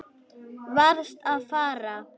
Varðst að fara.